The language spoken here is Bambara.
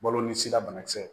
Balo ni sira banakisɛ